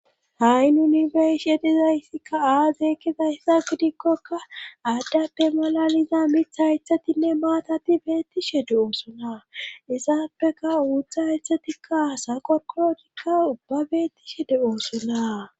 ha7i nunibesh yedizayssikka aazeekkizayssa gidikkoka aaddappe malaliza mitha haythatinne maatati beettishe de oosona isappeka uutha haythatikka asa qokologikka ubba beettishe de oosona